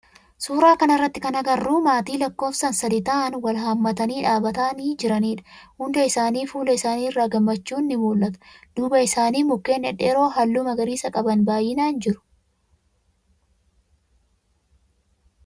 Suuraa kana irratti kana agarru maatii lakkoofsan sadi ta'aan wal haammatanii dhaabbatanii jiran dha. Hunda isaanii fuula isaani irraa gammachuun ni muul'ata. Duuba isaanii mukkeen dhedheeroo halluu magariisa qaban baayyinaan jiru.